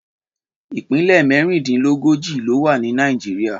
Ìpínlẹ̀ mẹ́rìndínlógójì ló wà ní Nàìjíríà.